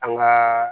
An gaa